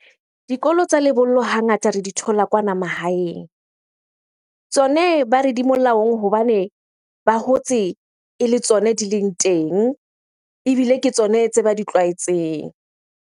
Dikolo tsa lebollo hangata re di thola kwana mahaeng. Tsone ba re di molaong hobane ba hotse ele tsone di leng teng. Ebile ke tsone tse ba di tlwaetseng.